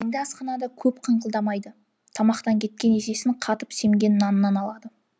енді асханада көп қыңқылдамайды тамақтан кеткен есесін қатып семген наннан алады